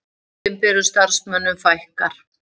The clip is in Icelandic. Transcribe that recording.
Opinberum starfsmönnum fækkar